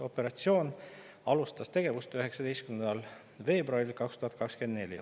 Operatsiooni tegevus algas 19. veebruaril 2024.